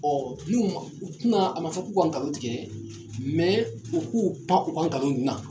n'u man u tɛ na a man fɔ k'u ka nkalon tigɛ u k'u pan u ka nkalon ninnu na.